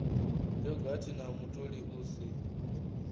yogathi na mutoli u si